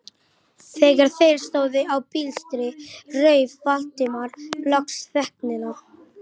Þegar þeir stóðu á blístri rauf Valdimar loks þögnina.